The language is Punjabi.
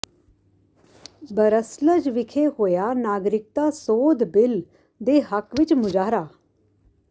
ਬਰੱਸਲਜ ਵਿਖੇ ਹੋਇਆ ਨਾਗਰਿਕਤਾ ਸੋਧ ਬਿਲ ਦੇ ਹੱਕ ਵਿਚ ਮੁਜਾਹਰਾ